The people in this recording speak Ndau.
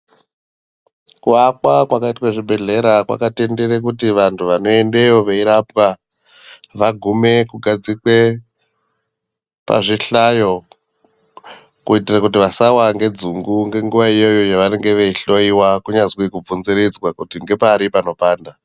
Kuvakwa kwakaitwe zvibhedhlera, kwakatendere kuti vantu vanoendewo veyirapwa, vagume kugadzigwe pazvihlayo kuitira kuti vasawa ngedzungu ngenguwa iyoyo yawanenge veyihloyiwa kunyanzvi kubvunziridzwa kuti ngepari panopanda.